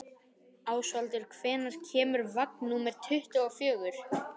Ásvaldur, hvenær kemur vagn númer tuttugu og fjögur?